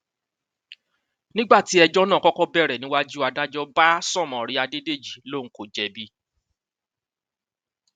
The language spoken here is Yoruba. nígbà tí ẹjọ náà kọkọ bẹrẹ níwájú adájọ bá sọmọrìn adédèjì lòun kò jẹbi